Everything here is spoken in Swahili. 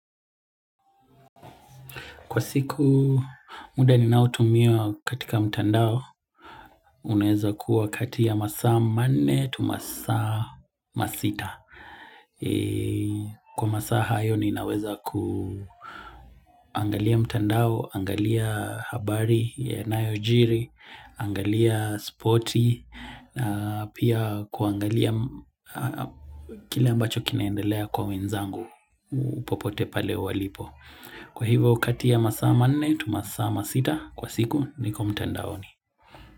Kwa siku muda ninao tumia katika mtandao, unaweza kuwa kati ya masaa manne tu masaa masita. Kwa masaa hayo ninaweza kuangalia mtandao, angalia habari yanayojiri, angalia spoti, na pia kuangalia kile ambacho kinaendelea kwa wenzangu popote pale walipo. Kwa hivyo kati ya masaa 4 tu masaa 6 kwa siku niko mtandaoni.